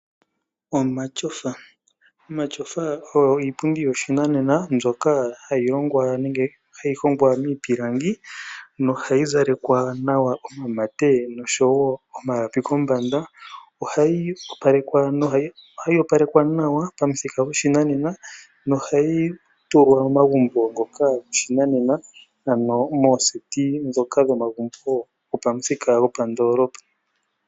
Omatyofa, omatyofa oyo iipundi yoshinanena mbyoka hayi longwa nenge hayi hongwa miipilangi nohayi zalekwa nawa omamate noshowo omalapi kombanda. Ohayi opalekwa nawa pamuthika gopashinanena nohayi tulwa momagumbo ngoka goshinanena, ano mooseti ndhoka dhomagumbo gopamuthika gopandoolopa.